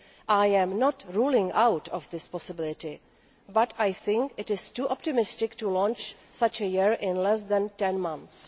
I am not ruling out this possibility but I think it is too optimistic to launch such a year in less than ten months.